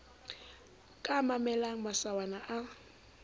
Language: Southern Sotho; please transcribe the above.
ka a mamellang masawana a